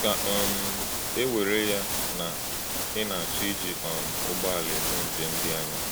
Kà um e were ya na ị̀ na-achọ iji um ụgbọ́àlá emé njem dị ànyá.